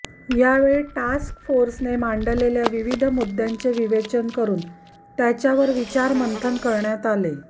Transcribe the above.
यावेळी टास्क फोर्सने मांडलेल्या विविध मुद्द्यांचे विवेचन करून त्याच्यावर विचार मंथन करण्यात आले